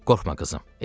Qorxma qızım.